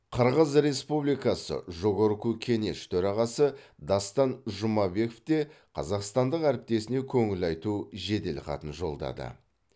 қырғыз республикасы жогорку кенеш төрағасы дастан жұмабеков те қазақстандық әріптесіне көңіл айту жеделхатын жолдады